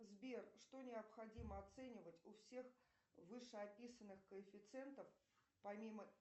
сбер что необходимо оценивать у всех вышеописанных коэффициентов помимо